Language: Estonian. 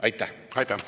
Aitäh!